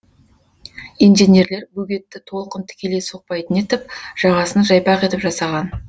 инженерлер бөгетті толқын тікелей соқпайтын етіп жағасын жайпақ етіп жасаған